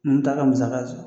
N bɛ taa ka musa sɔrɔ